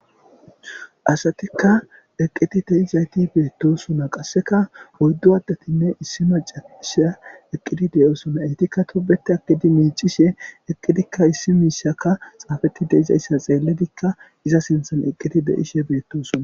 Asatikka eqqiti deizayti beettosona qasseka oyddu addatinne issima caqisha eqqidi deyosona eytikka tubete akidi miicishe eqqidikka issi miishaka xaafeti deizayssa xeelledikka iza sinthan eqqiti deyishe betosona